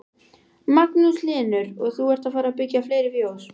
Magnús Hlynur: Og þú ert að fara byggja fleiri fjós?